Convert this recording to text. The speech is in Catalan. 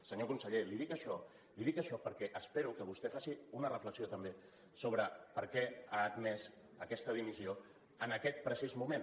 senyor conseller li dic això perquè espero que vostè faci una reflexió també sobre per què ha admès aquesta dimissió en aquest precís moment